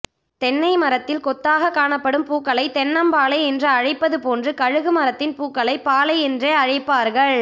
தென்னை மரத்தில் கொத்தாக காணப்படும் பூக்களை தென்னம் பாளை என்று அழைப்பதுபோன்று கமுகு மரத்தின் பூக்களையும் பாளை என்றே அழைப்பார்கள்